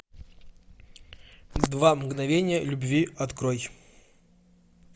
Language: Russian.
два мгновения любви открой